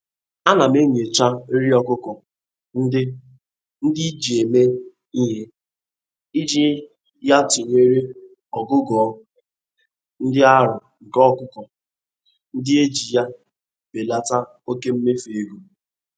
Ana m enyocha nri okụkọ ndị ndị eji mee ihe, iji ya tụnyere ogugo ịdị arọ nke ọkụkọ ndị a iji ya belata oke mmefu ego.